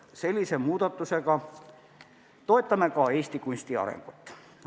Sellise muudatusega toetame ka Eesti kunsti arengut.